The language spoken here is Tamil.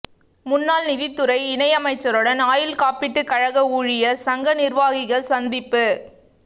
முன்னாள் நிதித்துறை இணை அமைச்சருடன் ஆயுள்காப்பீட்டு கழக ஊழியா் சங்க நிா்வாகிகள் சந்திப்பு